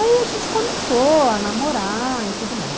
Aí a gente começou a namorar e tudo mais.